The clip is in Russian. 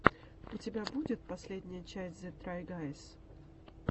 у тебя будет последняя часть зе трай гайз